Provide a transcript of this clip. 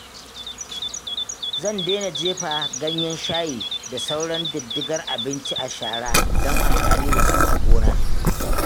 Zan dena jefa ganyen shayi da sauran diddigar abinci a shara don amfani da su a gona.